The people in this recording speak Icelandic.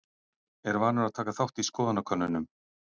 Er vanur að taka þátt í skoðanakönnunum.